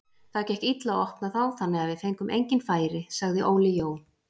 Það gekk illa að opna þá þannig við fengum engin færi, sagði Óli Jó.